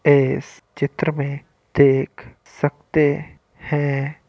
इस चित्र मे देख सकते है।